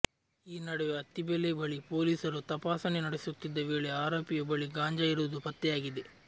ಈ ನಡುವೆ ಅತ್ತಿಬೆಲೆ ಬಳಿ ಪೊಲೀಸರು ತಪಾಸಣೆ ನಡೆಸುತ್ತಿದ್ದ ವೇಳೆ ಆರೋಪಿಯ ಬಳಿ ಗಾಂಜಾ ಇರುವುದು ಪತ್ತೆಯಾಗಿದೆ